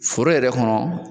Foro yɛrɛ kɔnɔ